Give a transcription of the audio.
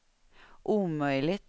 omöjligt